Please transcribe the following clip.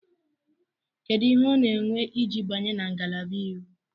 Kedu ihe ọ na-ewe iji banye na ngalaba Iwu?